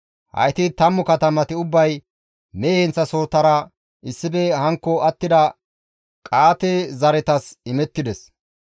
Hayti 10 katamati ubbay mehe heenththasohotara issife hankko attida Qa7aate zaretas imettides.